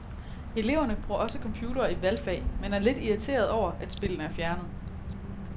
Eleverne bruger også computerne i valgfag, men er lidt irriterede over, at spillene er fjernet.